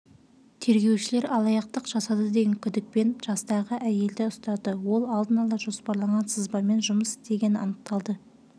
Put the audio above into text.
тергеушілер алаяқтық жасады деген күдікпен жастағы әйелді ұстады ол алдын ала жоспарланған сызбамен жұмыс істегені анықталды